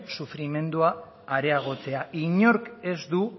sufrimendua areagotzea inork ez du